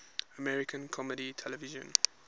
american comedy television